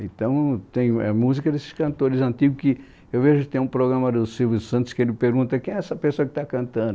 Então tem é música desses cantores antigos que eu vejo que tem um programa do Silvio Santos que ele pergunta quem é essa pessoa que está cantando.